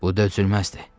Bu dözülməzdir.